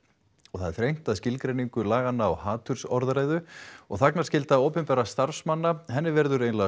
það er þrengt að skilgreiningu laganna á hatursorðræðu og þagnarskyldu opinberra starfsmanna verður